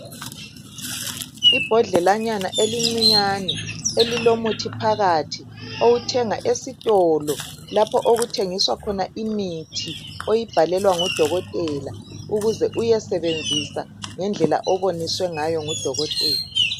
Ibhodlelanyana elincinyane ililomuthi phakathi owuthenga esitolo lapho ukuthengiswa khona imithi oyibhalelwa ngodokotela ukuze uyesebenzisa ngendlela oboniswe ngayo ngodokotela.